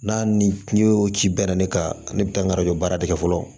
N'a ni o ci bɛnna ne kan ne bɛ taa n karɔ baara de kɛ fɔlɔ